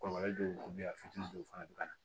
Kɔlɔlɔ dɔw bɛ yen a fitinin dɔw fana bɛ ka na